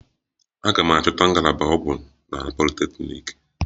A ga m achọta ngalaba ọgwụ na politeknik?